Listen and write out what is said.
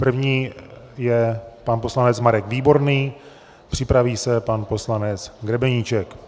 První je pan poslanec Marek Výborný, připraví se pan poslanec Grebeníček.